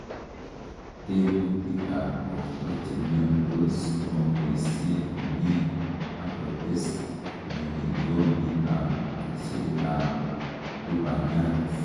Tekutikab borto chemiondos komobosie komie, ak kotes ng'oiyonditab ucheetab lubaniat.